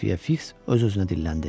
Xəfiyə Fiks öz-özünə dilləndi.